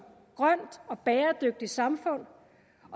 grønt og bæredygtigt samfund